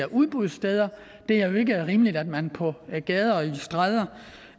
udbudssteder det er jo ikke rimeligt at man på gader og stræder